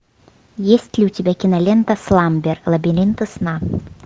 есть ли у тебя кинолента сламбер лабиринты сна